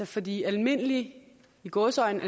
fordi almindelige i gåseøjne